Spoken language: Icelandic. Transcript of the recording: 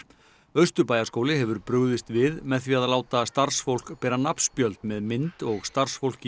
Austurbæjarskóli hefur brugðist við með því að láta starfsfólk bera nafnspjöld með mynd og starfsfólk